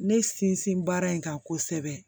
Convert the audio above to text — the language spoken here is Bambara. Ne sinsin baara in kan kosɛbɛ